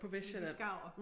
Men de skaver